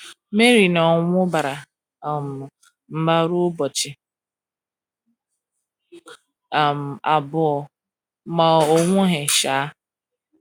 Mary na ọnwụ gbara um mgba ruo ụbọchị um abụọ, ma ọ nwụghị um.